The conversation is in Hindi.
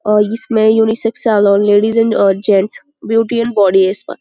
और इसमें unisex salon ladies and uh gents beauty and body spa --